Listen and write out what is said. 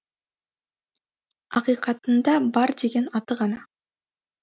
ақиқатында бар деген аты ғана